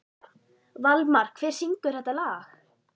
Valmar, hver syngur þetta lag?